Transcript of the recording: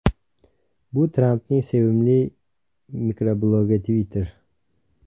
Bu Trampning sevimli mikroblogi Twitter.